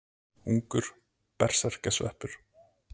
Ungur berserkjasveppur.